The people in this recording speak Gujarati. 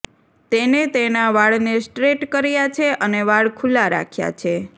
તેને તેના વાળને સ્ટ્રેટ કર્યા છે અને વાળ ખુલ્લા રાખ્યા છે